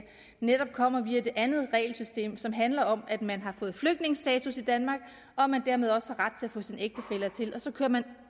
netop kommer via det andet regelsystem som handler om at man har fået flygtningestatus i danmark og at man dermed også har ret til at få sin ægtefælle hertil og så kører man